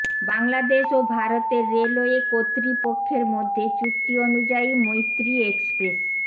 বাংলাদেশ ও ভারতের রেলওয়ে কর্তৃপক্ষের মধ্যে চুক্তি অনুযায়ী মৈত্রী এক্সপ্রেস